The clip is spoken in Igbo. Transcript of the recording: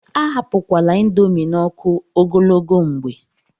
Ahapụkwala índomi n'ọkụ ogologo mgbe.